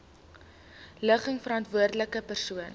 ligging verantwoordelike persoon